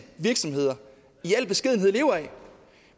virksomheder i al beskedenhed lever af